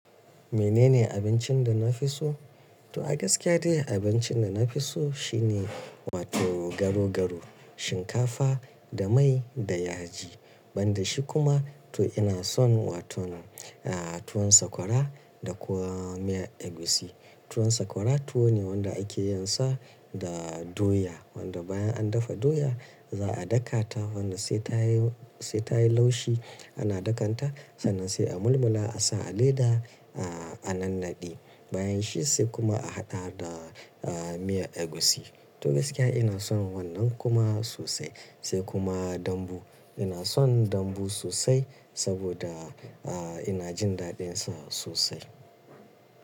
Menene abincin da na fi so? To a gaskiya dai abincin da na fi so shine wato garo garo, shinkafa da mai da yaji. Banda shi kuma to ina son wato, tuwon sakwara da kuma miyar egusi. Tuwon sakwara tuwo ne wanda ake yin sa da doya, wanda bayan an dafa doya za a dakata wannan sai ta yi, sai ta yi laushi ana dakanta. Sannan sai a mulmula, a sa a leda, a nannaɗe. Bayan shi sai kuma a haɗa da miyar egusi. To gaskiya ina son wannan kuma sosai. Sai kuma dambu. Ina son dambu sosai saboda ina jin daɗinsa sosai.